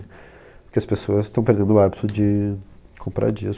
Porque as pessoas estão perdendo o hábito de comprar discos, de...